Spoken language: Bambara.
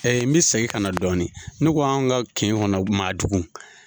Ɛ n bɛ segin ka na dɔɔni ne ko an ka kin kɔnɔ madugu.